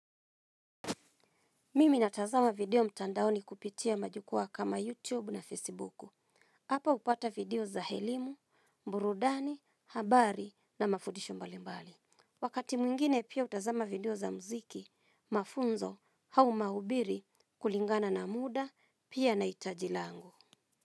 Mimi natazama video mtandaoni kupitia majukwaa kama YouTube na Facebook. Hapa hupata video za elimu, burudani, habari na mafudisho mbalimbali. Wakati mwingine pia hutazama video za mziki, mafunzo au mahubiri kulingana na muda, pia na hitaji langu.